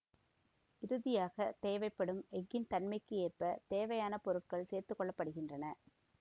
இறுதியாக தேவைப்படும் எஃகின் தன்மைக்கு ஏற்ப தேவையான பொருட்கள் சேர்த்து கொள்ள படுகின்றன